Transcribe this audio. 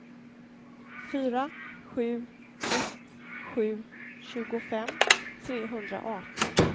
fyra sju ett sju tjugofem trehundraarton